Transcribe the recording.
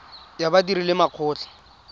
ya badiri le makgotla a